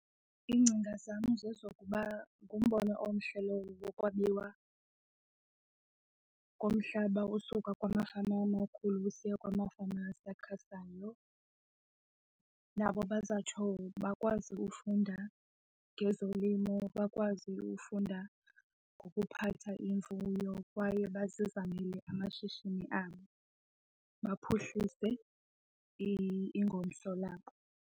Iingcinga zam zezokuba ngumbono omhle lowo wokwabiwa komhlaba ukusuka kumafama amakhulu usiya kwamafama asakhasayo nabo bazotsho bakwazi ufunda ngezolimo, bakwazi ufunda ngokuphatha imfuyo kwaye bazizamele amashishini abo baphuhlise ingomso labo.